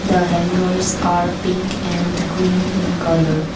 the hangers are pink and green in colour.